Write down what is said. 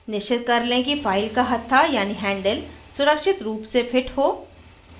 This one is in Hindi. निश्चित कर लें कि फाइल का हथ्था यानी हैंडल सुरक्षित रूप से फिट हो